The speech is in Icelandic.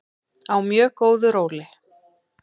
Á mjög góðu róli.